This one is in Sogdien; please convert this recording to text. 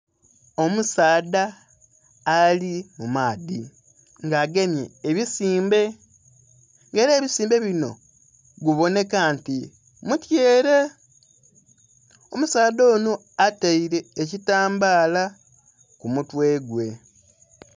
Omusaadha ali mumaadhi nga agemye ebisimbe, nga era ebisimbe binho gubonheka nti mutyele, omusaadha onho atele ekitambala ku mutwe gwe.